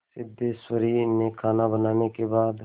सिद्धेश्वरी ने खाना बनाने के बाद